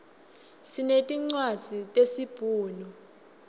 sinetincwadzi tesi bhunu